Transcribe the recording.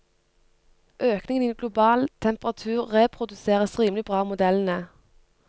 Økningen i global temperatur reproduseres rimelig bra av modellene.